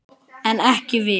En ekki við.